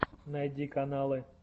найди каналы